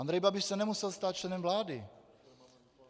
Andrej Babiš se nemusel stát členem vlády.